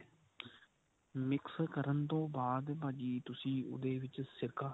mix ਕਰਨ ਤੋਂ ਬਾਅਦ ਭਾਜੀ ਤੁਸੀਂ ਉਹਦੇ ਵਿੱਚ ਸੇਕਾ